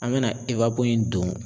An bena ewapo in don